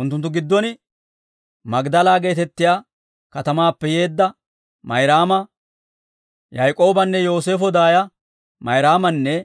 Unttunttu giddon Magdala geetettiyaa katamaappe yeedda Mayraama, Yaak'oobanne Yooseefo daaya Mayraamanne